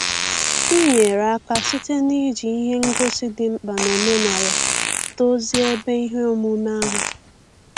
M nyere aka site na-iji ihe ngosi dị mkpa n'omenala dozie ebe ihe omume ahụ.